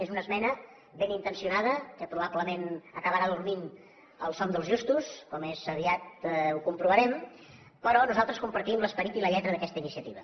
és una esmena benintencionada que probablement acabarà dormint el son dels justos com aviat comprovarem però nosaltres compartim l’esperit i la lletra d’aquesta iniciativa